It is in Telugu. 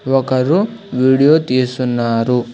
ఒకరు వీడియో తీస్తున్నారు.